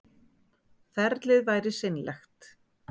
Ferlið væri seinlegt